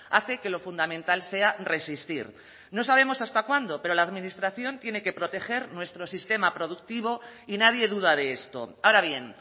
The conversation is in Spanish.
hace que lo fundamental sea resistir no sabemos hasta cuándo pero la administración tiene que proteger nuestro sistema productivo y nadie duda de esto ahora bien